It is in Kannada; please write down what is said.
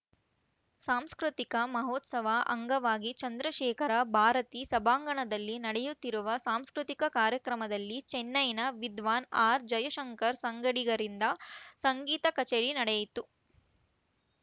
ಸಾಂಸ್ಕೃತಿಕ ಮಹೋತ್ಸವ ಅಂಗವಾಗಿ ಚಂದ್ರಶೇಖರ ಭಾರತೀ ಸಭಾಂಗಣದಲ್ಲಿ ನಡೆಯುತ್ತಿರುವ ಸಾಂಸ್ಕೃತಿಕ ಕಾರ್ಯಕ್ರಮದಲ್ಲಿ ಚೆನ್ನೈನ ವಿದ್ವಾನ್‌ ಆರ್‌ಜಯಶಂಕರ್‌ ಸಂಗಡಿಗರಿಂದ ಸಂಗೀತ ಕಚೇರಿ ನಡೆಯಿತು